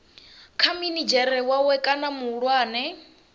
kha minidzhere wawe kana muhulwane